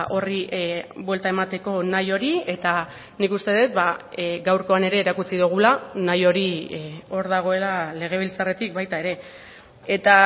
horri buelta emateko nahi hori eta nik uste dut gaurkoan ere erakutsi dugula nahi hori hor dagoela legebiltzarretik baita ere eta